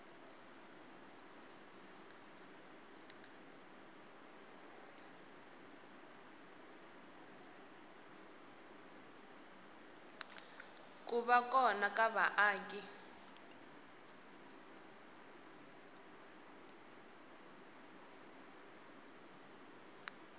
ku va kona ka vaaki